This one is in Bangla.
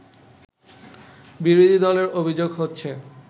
বিরোধী দলের অভিযোগ হচ্ছে